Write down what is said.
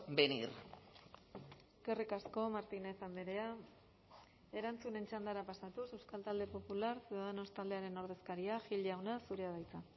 venir eskerrik asko martínez andrea erantzunen txandara pasatuz euskal talde popular ciudadanos taldearen ordezkaria gil jauna zurea da hitza